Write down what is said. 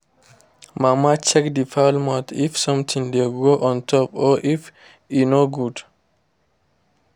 mama check the fowl mouth if something dey grow on top or if e no good.